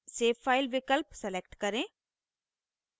save file विकल्प select करें